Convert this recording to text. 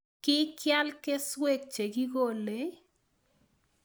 Kikial kesueek chekikolei.